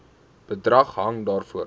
bedrag hang daarvan